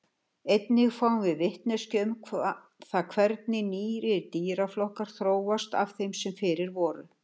Einnig fáum við vitneskju um það hvernig nýir dýraflokkar þróast af þeim sem fyrir voru.